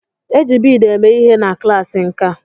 E ji bead eme ihe na klaasị nkà.